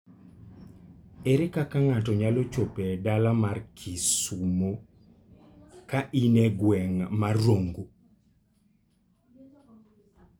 Ere kaka inyalo chopo e dala mar Kisumo ka in e gweng' mar Rongo?